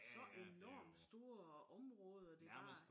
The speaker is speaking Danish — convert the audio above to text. Så enormt store områder de har